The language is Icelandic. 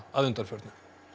að undanförnu